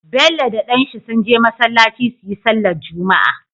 Bello da dan shi sun je masalaci suyi sallar juma'a